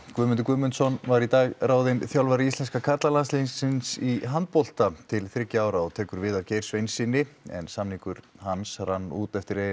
Guðmundur Guðmundsson var í dag ráðinn þjálfari íslenska karlalandsliðsins í handbolta til þriggja ára og tekur við af Geir Sveinssyni en samningur hans rann út eftir EM